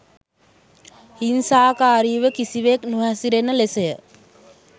හිංසාකාරීව කිසිවෙක් නොහැසිරෙන ලෙසය.